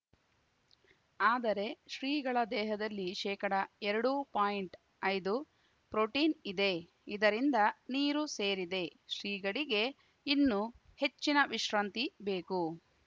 ಆದರೆ ಶ್ರೀಗಳ ದೇಹದಲ್ಲಿ ಶೇಕಡಎರಡು ಪಾಯಿಂಟ್ಐದು ಪ್ರೋಟೀನ್‌ ಇದೆ ಇದರಿಂದ ನೀರು ಸೇರಿದೆ ಶ್ರೀಗಳಿಗೆ ಇನ್ನು ಹೆಚ್ಚಿನ ವಿಶ್ರಾಂತಿ ಬೇಕು